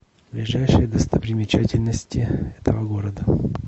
ближайшие достопримечательности этого города